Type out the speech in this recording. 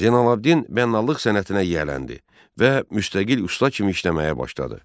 Zeynəlabdin bənnalıq sənətinə yiyələndi və müstəqil usta kimi işləməyə başladı.